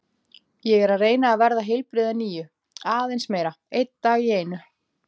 Ég er að reyna að verða heilbrigð að nýju, aðeins meira, einn dag í einu.